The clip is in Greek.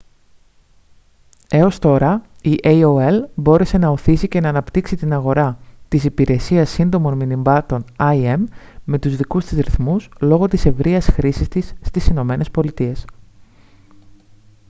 έως τώρα η aol μπόρεσε να ωθήσει και να αναπτύξει την αγορά της υπηρεσίας σύντομων μηνυμάτων im με τους δικούς της ρυθμούς λόγω της ευρείας χρήσης της στις ηνωμένες πολιτείες